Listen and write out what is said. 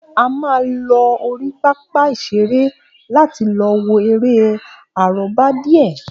A máa lọ orí pápá ìṣeré láti lọ wo eré àrọ́bá díè